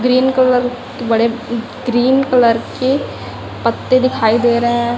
Green colour के बड़े green colour के पत्ते दिखाई दे रहे हैं।